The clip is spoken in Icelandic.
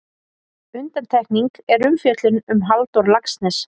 Undantekning er umfjöllun um Halldór Laxness.